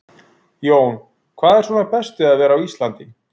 Jón: Hvað er svona best við að vera á Íslandi?